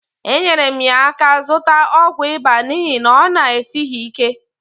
enyere m ya aka zụta ọgwụ ịba n'ihi na ọ na-esighi ike.